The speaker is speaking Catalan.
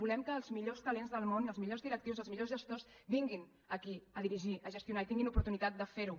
volem que els millors talents del món els millors directius i els millors gestors vinguin aquí a dirigir a gestionar i tinguin l’oportunitat de fer ho